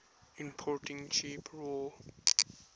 importing cheap raw